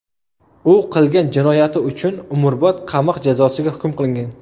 U qilgan jinoyati uchun umrbod qamoq jazosiga hukm qilingan.